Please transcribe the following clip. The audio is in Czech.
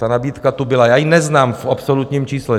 Ta nabídka tu byla, já ji neznám v absolutním čísle.